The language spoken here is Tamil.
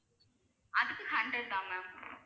அதுக்கு hundred தான் ma'am